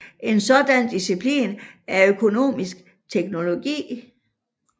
En sådan disciplin er økumenisk teologi